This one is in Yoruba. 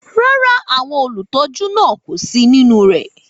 Rárá, àwọn olùtọ́jú náà kò sí nínú rẹ̀.